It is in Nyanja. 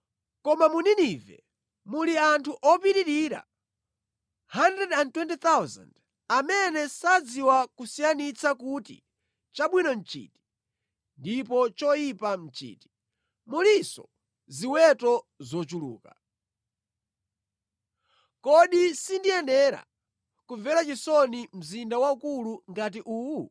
Koma mu Ninive muli anthu opitirira 120,000 amene sadziwa kusiyanitsa kuti chabwino nʼchiti ndipo choyipa nʼchiti, mulinso ziweto zochuluka. Kodi sindiyenera kumvera chisoni mzinda waukulu ngati uwu?”